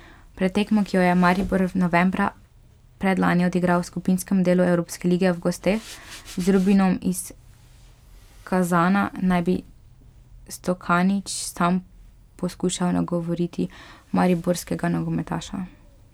Pred tekmo, ki jo je Maribor novembra predlani odigral v skupinskem delu evropske lige v gosteh z Rubinom iz Kazana, naj bi Stokanić sam poskušal nagovoriti mariborskega nogometaša.